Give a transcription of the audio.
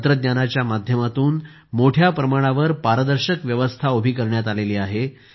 तंत्रज्ञानाच्या माध्यमातून मोठ्या प्रमाणावर पारदर्शक व्यवस्था उभी करण्यात आली आहे